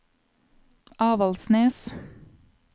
Avaldsnes